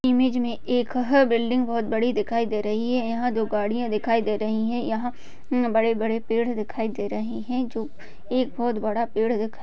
image मे एक ह बिल्डिंग बहुत बड़ी दिखाई दे रही है यहां जो गाड़ियां दिखाई दे रही हैं यहां बड़े बड़े पेड़ दिखाई दे रहे हैं जो एक बहुत बड़ा पेड़ दि --